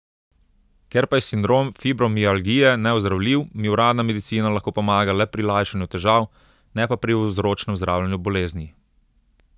Ker pa je sindrom fibromialgije neozdravljiv, mi uradna medicina lahko pomaga le pri lajšanju težav, ne pa pri vzročnem zdravljenju bolezni.